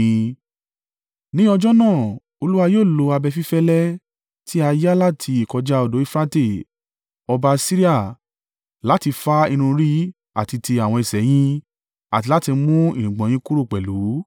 Ní ọjọ́ náà, Olúwa yóò lo abẹ fífẹ́lẹ́ tí a yá láti ìkọjá odò Eufurate, ọba Asiria, láti fá irun orí àti ti àwọn ẹsẹ̀ ẹ yín, àti láti mú irùngbọ̀n yín kúrò pẹ̀lú.